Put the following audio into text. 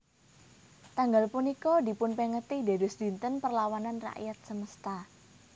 Tanggal punika dipunpengeti dados dinten Perlawanan Rakyat Semesta